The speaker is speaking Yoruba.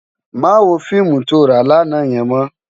Má wó fiimú tó rá làná yèn mò